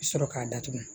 Sɔrɔ k'a datugu